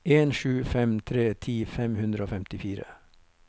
en sju fem tre ti fem hundre og femtifire